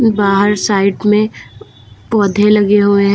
बाहर साइड में पौधे लगे हुए हैं।